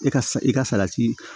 E ka i ka salati